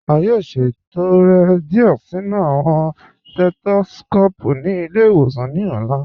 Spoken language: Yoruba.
A yóò ṣẹtọrẹ́ díẹ̀ nínu awọn setoskopu sí ilẹ̀-ìwòsàn ní ọ̀la.